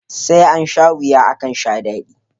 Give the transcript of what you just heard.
Sai ansha wuya akan sha dadi